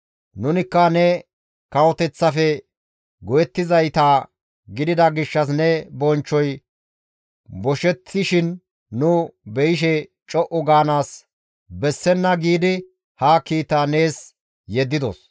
Nunikka ne kawoteththafe go7ettizayta gidida gishshas ne bonchchoy boshettishin nu beyishe co7u gaanaas bessenna giidi ha kiita nees yeddidos.